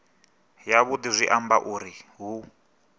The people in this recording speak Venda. yavhudi zwi amba zwauri hu